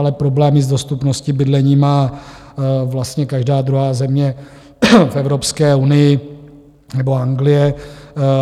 Ale problémy s dostupností bydlení má vlastně každá druhá země v Evropské unii nebo Anglie.